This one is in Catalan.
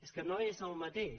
és que no és el mateix